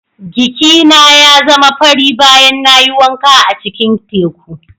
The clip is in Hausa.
Giki na ya zama fari bayan na yi wanka a cikin teku.